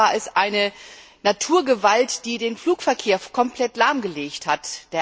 In diesem Fall war es eine Naturgewalt, die den Flugverkehr komplett lahmgelegt hat.